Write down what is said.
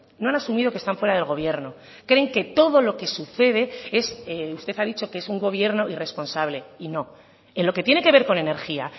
no han asumido que están fuera del gobierno creen que todo lo que sucede es usted ha dicho que es un gobierno irresponsable y no en lo que tiene que ver con energía